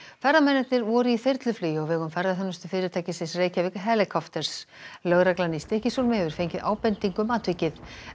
ferðamennirnir voru í þyrluflugi á vegum Reykjavík Helicopters lögreglan í Stykkishólmi hefur fengið ábendingu um atvikið